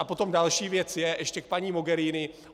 A potom další věc je, ještě k paní Mogherini.